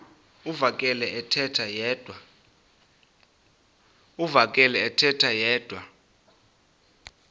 uvakele ethetha yedwa